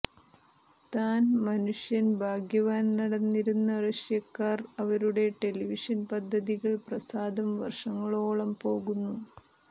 താൻ മനുഷ്യൻ ഭാഗ്യവാൻ നടന്നിരുന്ന റഷ്യക്കാർ അവരുടെ ടെലിവിഷൻ പദ്ധതികൾ പ്രസാദം വർഷങ്ങളോളം പോകുന്നു